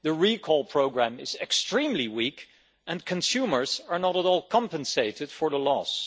The recall programme is extremely weak and consumers are not at all compensated for the loss.